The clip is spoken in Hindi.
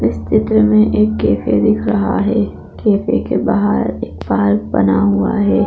इस चित्र में एक कैफे दिख रहा है कैफे के बाहर एक पार्क बना हुआ है।